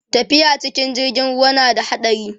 tafiya cikin jirgin ruwa na da haɗari